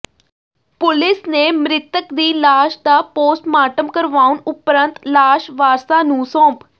police ਨੇ ਮਿ੍ਤਕ ਦੀ ਲਾਸ਼ ਦਾ ਪੋਸਟਮਾਰਟਮ ਕਰਵਾਉਣ ਉਪਰੰਤ ਲਾਸ਼ ਵਾਰਸਾਂ ਨੂੰ ਸੌਂਪ